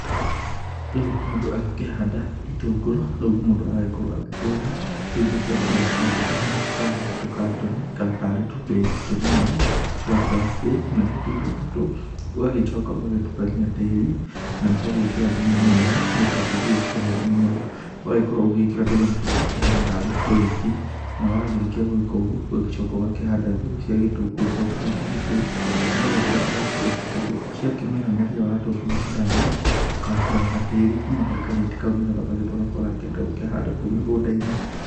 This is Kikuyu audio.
Rĩu mũndũ agĩkĩhanda itũngũrũ rĩu mũndũ agĩkorwo agĩkĩgũra tũindo tũrĩa tũkĩhana tarĩ tũkatoni kana tarĩ tũneti tũnini twa plastic. Natuo tũindo tũtũ ũgagĩcoka ũgagĩtukania tĩri na ũgagĩkĩra thumu mwega nĩ getha tĩri ũyũ ũgĩkorwo ũrĩ mũnoru. Ũgakorwo ũgĩkĩra tũnyamũ tũtũ tũkĩhana tarĩ tũrĩti na wakĩrĩkia gũgĩka ũguo ũgacoka ũgakĩhanda mbegũ cia gĩtũngũrũ hau tũrĩti-inĩ tũu, nĩ getha rĩrĩa ũgatua, ciakĩmera rĩrĩa watua gũgĩcithamia, ũka ruta gatĩri kuma harĩ karĩti kau nĩ getha ũgagĩtwara kũrĩa ũrakĩenda gũkĩhanda kũu mĩgũnda-inĩ.